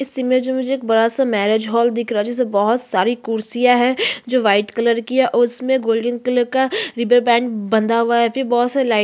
इस इमेज में मुझे एक बड़ा-सा मैरिज हॉल दिख रहा है जिसमे बहोत सारी कुर्सियां है जो वाइट कलर की है उसमें गोल्डन कलर का रिबन बैंड --